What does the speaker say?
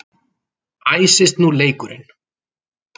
Æsist nú leikurinn!